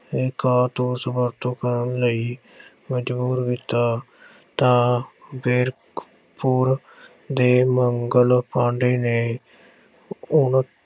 ਕਾਰਤੂਸ ਵਰਤੋਂ ਕਰਨ ਲਈ ਮਜ਼ਬੂਰ ਕੀਤਾ ਤਾਂ ਬੈਰਕਪੁਰ ਦੇ ਮੰਗਲ ਪਾਂਡੇ ਨੇ ਉਨ ਅਹ